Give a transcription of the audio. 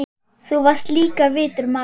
Þú varst líka vitur maður.